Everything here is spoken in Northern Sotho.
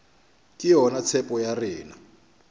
ke yona tshepo ya rena